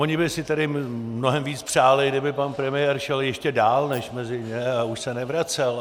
Oni by si tedy mnohem víc přáli, kdyby pan premiér šel ještě dál než mezi ně a už se nevracel.